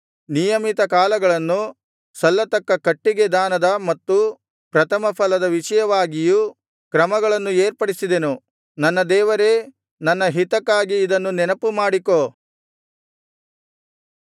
ನಿಯಮಿತ ಕಾಲಗಳನ್ನು ಸಲ್ಲತಕ್ಕ ಕಟ್ಟಿಗೆ ದಾನದ ಮತ್ತು ಪ್ರಥಮ ಫಲದ ವಿಷಯವಾಗಿಯೂ ಕ್ರಮಗಳನ್ನು ಏರ್ಪಡಿಸಿದೆನು ನನ್ನ ದೇವರೇ ನನ್ನ ಹಿತಕ್ಕಾಗಿ ಇದನ್ನು ನೆನಪುಮಾಡಿಕೋ